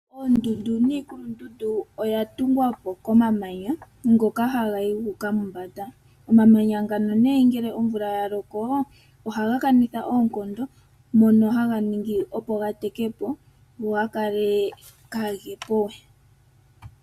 Oondundu niikulundundu oyatungwapo komamanya ngoka hagayi guuka mombanda. Omamanya ngano nee ngele omvula yalokoo ohagakanitha oonkondo mono haganingi opo gatekepo go gakale kaagepowe.